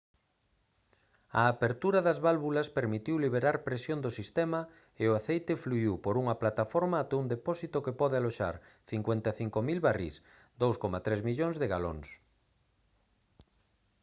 a apertura das válvulas permitiu liberar presión do sistema e o aceite fluíu por unha plataforma ata un depósito que pode aloxar 55 000 barrís 2,3 millóns de galóns